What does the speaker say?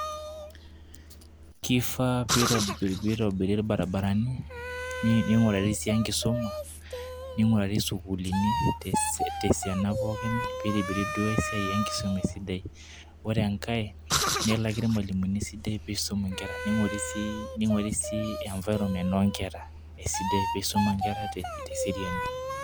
Kifaa piitobiri irbaribarani ning'urari sii enkisuma, ningurari isukuulini te se te siana pookin piitibiri duo ai siai enkisuma esidai. Ore enkae nelaki irmalimuni esidai piisum inkera ning'ori sii ning'urari sii environment oo nkera esidai piisuma inkera te te eseriani.